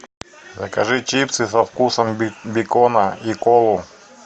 закажи чипсы со вкусом бекона и колу